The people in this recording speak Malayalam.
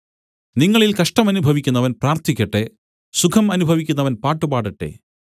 നിങ്ങളിൽ കഷ്ടമനുഭവിക്കുന്നവൻ പ്രാർത്ഥിക്കട്ടെ സുഖം അനുഭവിക്കുന്നവൻ പാട്ടു പാടട്ടെ